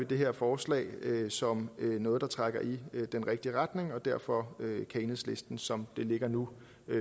det her forslag som noget der trækker i den rigtige retning og derfor kan enhedslisten som det ligger nu